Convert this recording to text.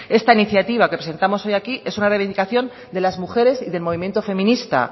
esta iniciativa que presentamos hoy aquí es una reivindicación de las mujeres y del movimiento feminista